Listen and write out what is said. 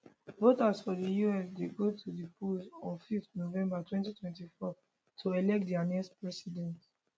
voters for di us dey go to di polls on 5 november 2024 to elect dia next president